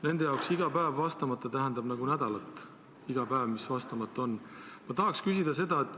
Nende jaoks tähendab iga vastamata päev nagu nädalat.